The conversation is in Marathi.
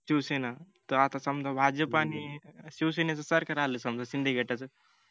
शिवसेना आता समजा भाजप आणि शिवसेना शिवसेनेच सरकार आल समजा शिंदे गटाच